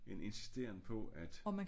En insisteren på at